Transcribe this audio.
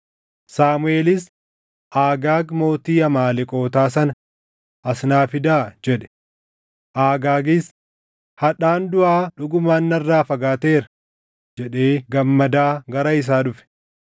Saamuʼeelis, “Agaag mootii Amaaleqootaa sana as naa fidaa” jedhe. Agaagis, “Hadhaan duʼaa dhugumaan narraa fagaateera” jedhee gammadaa gara isaa dhufe.